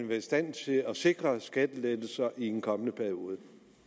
være i stand til at sikre skattelettelser i en kommende periode